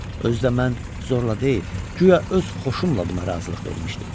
Özü də mən zorla deyil, guya öz xoşumla buna razılıq vermişdim.